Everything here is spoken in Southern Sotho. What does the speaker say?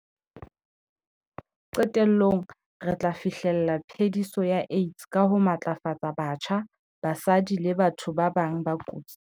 Qetellong, re tla fi hlella phe-diso ya AIDS ka ho matlafatsa batjha, basadi le batho ba bang ba kotsing.